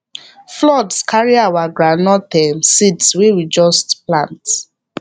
flood carry our groundnut um seeds wey we just plant